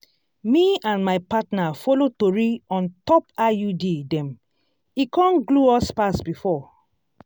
me and my partner follow tori on top iud dem e con glue us pass before.